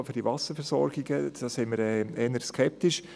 Wir sind eher skeptisch.